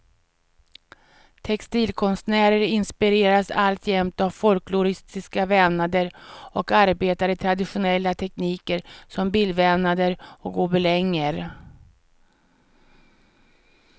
Textilkonstnärer inspireras alltjämt av folkloristiska vävnader och arbetar i traditionella tekniker som bildvävnader och gobelänger.